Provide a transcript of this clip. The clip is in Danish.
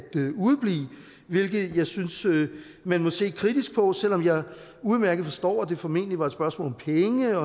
udeblive hvilket jeg synes man må se kritisk på selv om jeg udmærket forstår at det formentlig var et spørgsmål om penge og